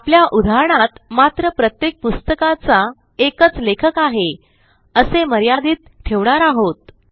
आपल्या उदाहरणात मात्र प्रत्येक पुस्तकाचा एकच लेखक आहे असे मर्यादित ठेवणार आहोत